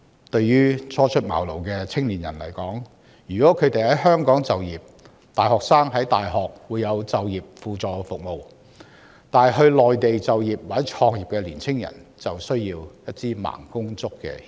對於初出茅廬的青年人來說，他們如在香港就業，大學會為大學生提供就業輔導服務，但他們若選擇前往內地就業或創業，便需要"盲公竹"協助。